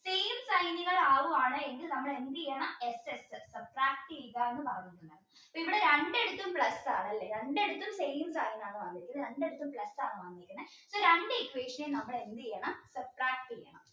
നിങ്ങൾ ആവുകയാണെങ്കിൽ നമ്മൾ എന്ത് ചെയ്യണം ഇവിടെ രണ്ടിടത്തും plus ആണ് അല്ലേ രണ്ടിടത്തും same sign ആണ് വന്നിരിക്കുന്നത് രണ്ടിടത്തും ഈ രണ്ടു equation നമ്മൾ എന്ത് ചെയ്യണം subtract